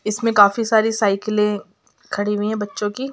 इसमें काफी सारी साइकिलें खड़ी हुइ हैं बच्चो की |